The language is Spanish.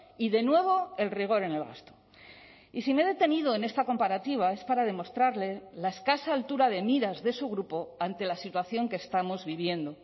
y de nuevo el rigor en el gasto y si me he detenido en esta comparativa es para demostrarle la escasa altura de miras de su grupo ante la situación que estamos viviendo